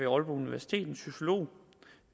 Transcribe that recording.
aalborg universitet en sociolog